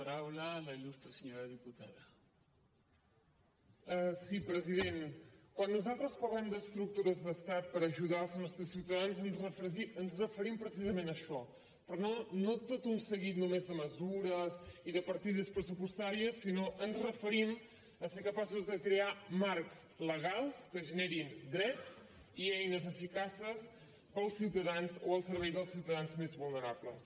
president quan nosaltres parlem d’estructures d’estat per ajudar els nostres ciutadans ens referim precisament a això però no tot un seguit només de mesures i de partides pressupostàries sinó que ens referim a ser capaços de crear marcs legals que generin drets i eines eficaces per als ciutadans o al servei dels ciutadans més vulnerables